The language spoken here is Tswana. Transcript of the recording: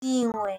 Dingwe